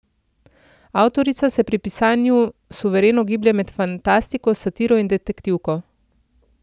Avtorica se pri pisanji suvereno giblje med fantastiko, satiro in detektivko.